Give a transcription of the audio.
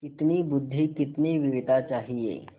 कितनी बुद्वि कितनी वीरता चाहिए